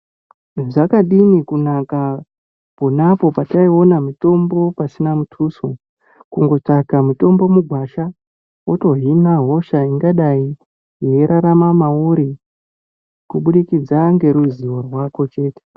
Dzakadini kunaka pona apo pataiona mitombo pasina muthuso, kungotsvaka mitombo mugwasha, wotohina hosha ingadai yeirarama mauri, kuburikidza ngeruzivo rwako chete.